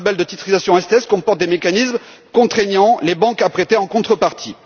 que ce label de titrisation STS comporte des mécanismes contraignant les banques à prêter en contrepartie.